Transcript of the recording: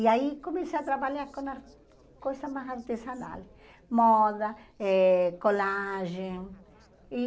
E aí comecei a trabalhar com as coisas mais artesanais, moda, eh colagem. E